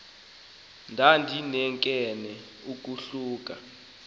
ndandinkenenkene uku khula